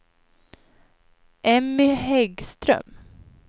Emmy Häggström